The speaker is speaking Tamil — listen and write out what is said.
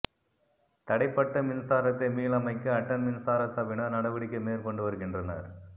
தடைப்பட்ட மின்சாரத்தை மீளமைக்க அட்டன் மின்சார சபையினர் நடவடிக்கை மேற் கொண்டு வருகின்றனர்